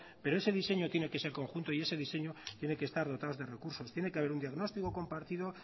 pero ese diseño tiene que ser conjunto y ese diseño tiene que estar dotado de recursos tiene que haber un diagnóstico compartido